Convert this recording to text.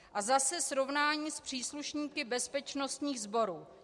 A zase srovnání s příslušníky bezpečnostních sborů.